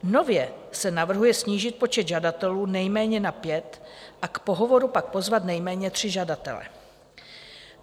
Nově se navrhuje snížit počet žadatelů nejméně na pět a k pohovoru pak pozvat nejméně tři žadatele.